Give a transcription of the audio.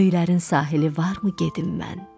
Göylərin sahili varmı gedim mən?